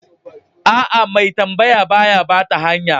Aa, mai tambaya ba ya bata hanya.